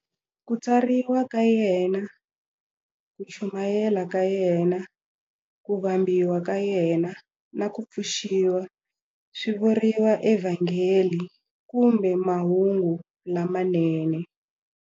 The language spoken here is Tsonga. Ku tswariwa ka yena, ku chumayela ka yena, ku vambiwa ka yena, na ku pfuxiwa swi vuriwa eVhangeli kumbe Mahungu lamanene.